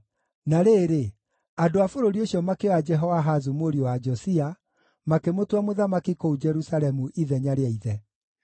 Na rĩrĩ, andũ a bũrũri ũcio makĩoya Jehoahazu mũriũ wa Josia, makĩmũtua mũthamaki kũu Jerusalemu ithenya rĩa ithe.